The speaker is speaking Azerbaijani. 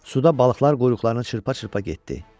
Suda balıqlar quyruqlarını çırpa-çırpa getdi.